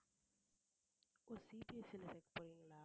ஓ CBSE ல சேக்கப்போறீங்களா